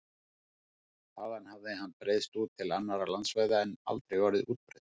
Þaðan hefði hann breiðst til annarra landsvæða en aldrei orðið útbreiddur.